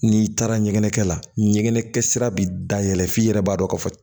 N'i taara ɲɛgɛnkɛ la ɲɛgɛnɛkɛ sira bi da yɛlɛ f'i yɛrɛ b'a dɔn ka fɔ